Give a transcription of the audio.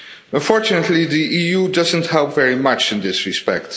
Unfortunately, the EU doesn't help very much in this respect.